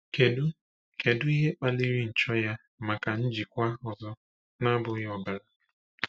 Kedu Kedu ihe kpaliri nchọ ya maka njikwa ọzọ na-abụghị ọbara?